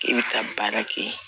I bɛ taa baara kɛ